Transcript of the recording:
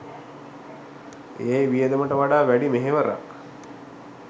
ඒ වියදමට වඩා වැඩි මෙහෙවරක්